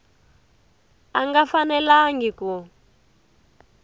a a nga fanelangi ku